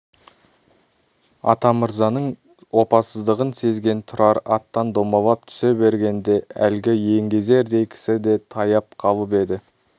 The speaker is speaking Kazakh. атамырзаның опасыздығын сезген тұрар аттан домалап түсе бергенде әлгі еңгезердей кісі де таяп қалып еді